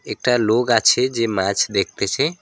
একটা লোক আছে যে মাছ দেখতেছে।